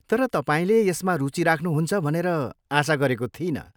तर तपाईँले यसमा रुचि राख्नुहुन्छ भनेर आशा गरेको थिइनँ।